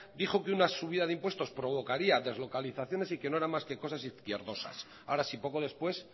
dijo que una subida de impuestos provocaría deslocalizaciones y que no eran más que cosas izquierdosas ahora sí poco después